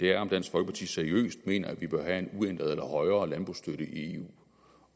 er om dansk folkeparti seriøst mener at vi bør have en uændret eller højere landbrugsstøtte i eu